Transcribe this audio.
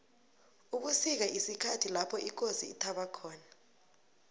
ubusika sikhathi lapho ikosi ithaba khona